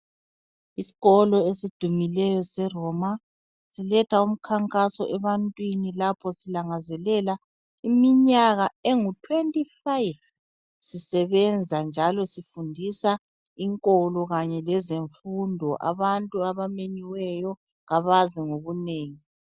Isikolo esidumileyo seRoma siletha umkhankaso ebantwini lapho silangazelela iminyaka engu 25 sisebenza njalo sifundisa inkolokanye lezemfundo, abantu abamenyiweyo kabaze ngobunengi.